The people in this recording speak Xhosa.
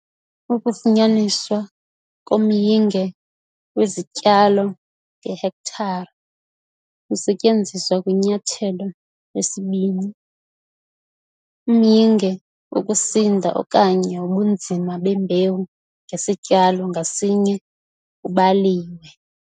Ukufunyaniswa komyinge wezityalo ngehektare kusetyenziswa kwiNyathelo 2 - umyinge wokusinda okanye wobunzima bembewu ngesityalo ngasinye kubaliwe